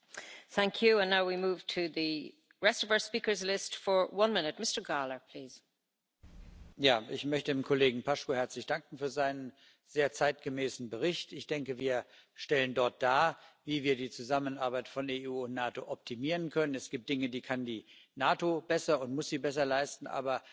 Frau Präsidentin! Ich möchte dem Kollegen Paşcu für seinen sehr zeitgemäßen Bericht herzlich danken. Ich denke, wir stellen dort dar, wie wir die Zusammenarbeit von EU und NATO optimieren können. Es gibt Dinge, die kann die NATO besser und muss sie besser leisten, aber es gibt Dinge, die wir auf der EU Ebene besser erledigen können.